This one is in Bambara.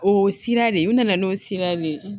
O sira de u nana n'o sira de ye